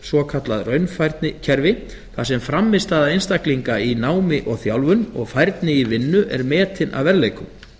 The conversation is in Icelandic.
svokallað raunfærnikerfi þar sem frammistaða einstaklinga í námi og þjálfun og færni í vinnu er metin að verðleikum